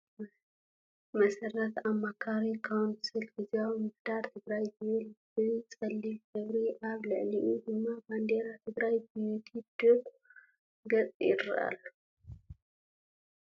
ምስረታ ኣማካሪ ካውንስል ግዝያዊ ምምሒዳር ትግራይ ዝብል ብ ፀሊም ሕብሪ ኣብ ልዕሊኡ ድም ባንዴር ትግራይ ብ ዩቲብ ድረ ግፅ ይረአ ኣሎ ።